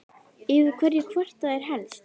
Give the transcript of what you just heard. Yfir hverju kvarta þeir helst?